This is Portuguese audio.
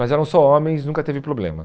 Mas eram só homens, nunca teve problema.